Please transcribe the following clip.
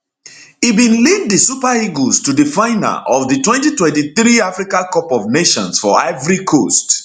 e bin lead di super eagles to di final of di 2023 africa cup of nations for ivory coast